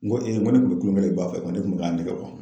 N ko n ko ne tun be kulɔnkɛ la i ba fɛ ko ne kun be k'a nɛgɛ bɔ